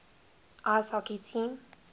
ice hockey team